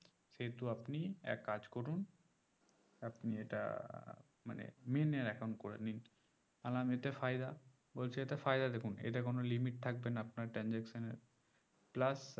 সেহুতু আপনি এক কাজ করুন আপনি এটা মানে main এর account করে নিন আমি বললাম এতে ফায়দা বলছে এতে ফায়দা দেখুন এতে কোন limit থাকবে না আপনার transaction এর plus